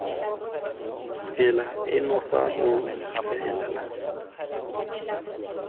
tsela eno fa o ikaelela